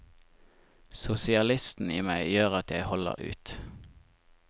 Sosialisten i meg gjør at jeg holder ut.